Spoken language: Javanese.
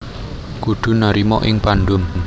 Kudu narima ing pandum